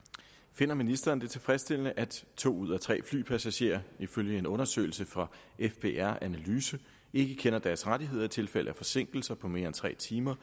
finder ministeren det tilfredsstillende at to ud af tre flypassagerer ifølge en undersøgelse fra fbr analyse ikke kender deres rettigheder i tilfælde af forsinkelser på mere end tre timer